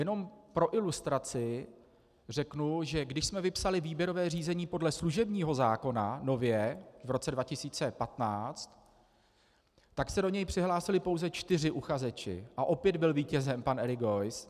Jenom pro ilustraci řeknu, že když jsme vypsali výběrové řízení podle služebního zákona, nově v roce 2015, tak se do něj přihlásili pouze čtyři uchazeči a opět byl vítězem pan Erik Geuss.